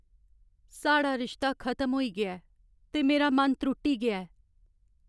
साढ़ा रिश्ता खतम होई गेआ ऐ ते मेरा मन त्रुट्टी गेआ ऐ।